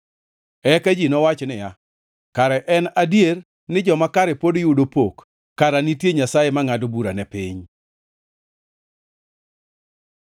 Eka ji nowach niya, “Kara en adier ni joma kare pod yudo pok; kara nitie Nyasaye mangʼado bura ne piny.”